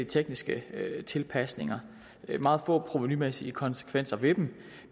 tekniske tilpasninger der er meget få provenumæssige konsekvenser ved dem